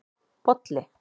Bolli